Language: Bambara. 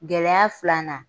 Gɛlɛya filanan